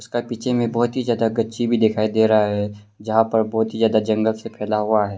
उसका पीछे में बहुत ही ज्यादा गच्ची भी दिखाई दे रहा है यहां पर बहुत ही ज्यादा जंगल से फैला हुआ है।